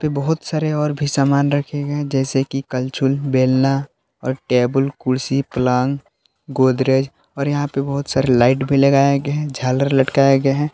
बहोत सारे और भी सामान रखे गए हैं जैसे कि कल्छूल बेलना और टेबल कुर्सी पलंग गोदरेज और यहां पे बहोत सारे लाइट भी लगाये गये हैं झालर लटकाये गये हैं।